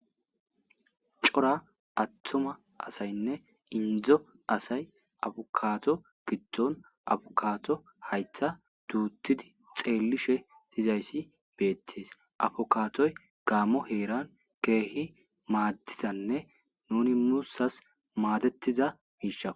cora attuma asaynne indzo asay afokaato gitton afokaato hayttha duuttidi xeellishe dizayssi beettees afokaatoy gaammo heeran keehi maaddizanne nuni mussas maadettiza giisha